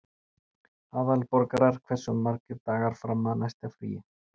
Aðalborgar, hversu margir dagar fram að næsta fríi?